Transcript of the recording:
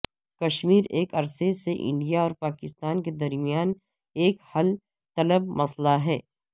کشمیر ایک عرصے سے انڈیا اور پاکستان کے درمیان ایک حل طلب مسئلہ ہے